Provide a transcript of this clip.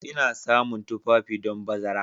Ina samun tufafi don bazara.